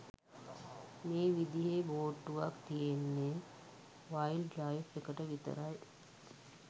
මේ විදිහේ බෝට්ටුවක් තියෙන්නේ වයිල්ඞ් ලයිෆ් එකට විතරයි.